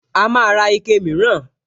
A máa ra ike mìíràn